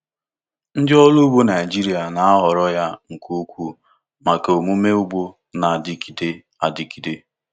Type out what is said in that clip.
Ndị ọrụ ugbo Naijiria na-ahọrọ ya nke ukwuu maka omume ugbo na-adịgide adịgide.